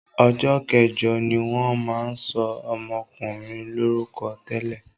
Ọjọ́ kẹjọ ni wọ́n máa ń sọ ọmọkùnrin lórúkọ tẹ́lẹ̀.